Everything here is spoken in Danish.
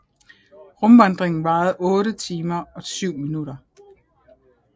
Rumvandringen varede 8 timer og 7 minutter